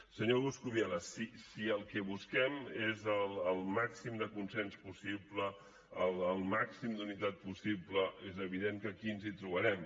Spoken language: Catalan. senyor coscubiela si el que busquem és el màxim de consens possible el màxim d’unitat possible és evident que aquí ens hi trobarem